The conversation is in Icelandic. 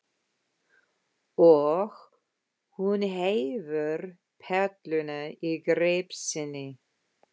Og hún hefur perluna í greip sinni.